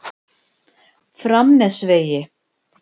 Framnesvegi